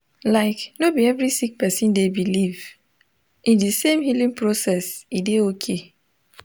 like no bi every sik person dey biliv in di sem healing process e dey okay